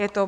Je to